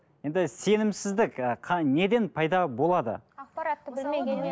енді сенімсіздік і неден пайда болады ақпаратты білмегеннен